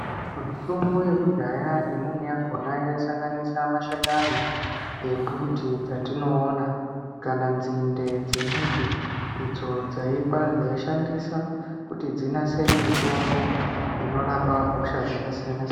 Mitombo yekudhaya imweni yakhona yaisanganisa mashakani embuti dzatinoona, kana nzinde dzemuti idzo dzaikwa dzaishandisa kuti dzinasire mitombo ,inorapa hosha dzakasiyana.